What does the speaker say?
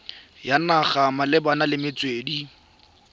ya naga malebana le metswedi